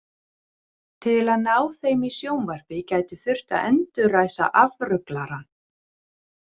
Til að ná þeim í sjónvarpi gæti þurft að endurræsa afruglarann.